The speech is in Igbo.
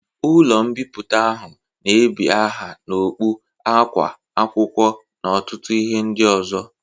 Ụlọ mbipụta ahụ na ebi aha n'okpu, akwa, akwụkwọ n'ọtụtụ ihe ndị ozo